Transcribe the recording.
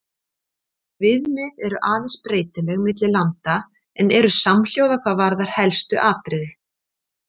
Viðmið eru aðeins breytileg milli landa en eru samhljóða hvað varðar helstu atriði.